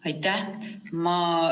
Aitäh!